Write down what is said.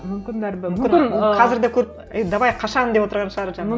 мүмкін бәрібір қазір де көріп е давай қашан деп отырған шығар жаңағы